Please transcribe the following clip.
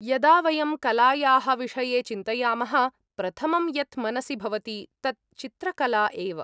यदा वयं कलायाः विषये चिन्तयामः, प्रथमं यत् मनसि भवति तत् चित्रकला एव।